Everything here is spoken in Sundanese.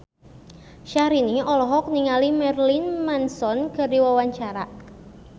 Syahrini olohok ningali Marilyn Manson keur diwawancara